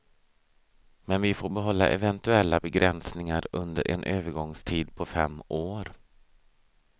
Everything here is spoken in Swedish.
Men vi får behålla eventuella begränsningar under en övergångstid på fem år.